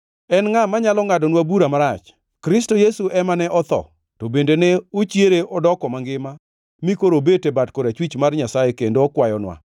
En ngʼa manyalo ngʼadonwa bura marach? Kristo Yesu ema ne otho, to bende ne ochiere odoko mangima mi koro obet e bat korachwich mar Nyasaye kendo okwayonwa.